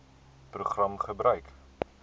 program gebruik